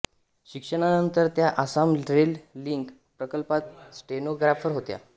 शिक्षणानंतर त्या Assam rail link प्रकल्पात स्टेनोग्राफर होत्या